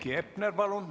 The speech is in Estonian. Heiki Hepner, palun!